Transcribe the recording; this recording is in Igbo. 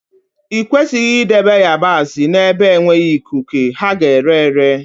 I kwesịghị idebe ịyabasị n'ebe enweghị ikuku, ha ga-ere ere